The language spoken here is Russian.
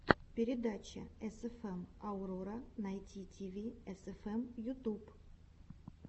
передача эсэфэм аурора найт тиви эсэфэм ютуб